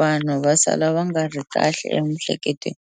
vanhu va sala va nga ri kahle emihleketweni.